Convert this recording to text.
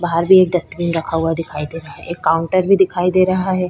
बाहर भी एक डस्ट्बिन रखा हुआ दिखाई दे रहा है। एक काउंटर भी दिखाई दे रहा है।